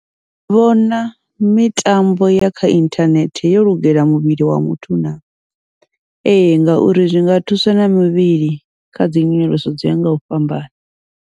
Ni vhona mitambo ya kha inthanethe yo lugela muvhili wa muthu naa, ee ngauri zwinga thusa na mivhili khadzi nyonyoloso dzo ya ngau fhambana.